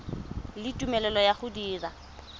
le tumelelo ya go dira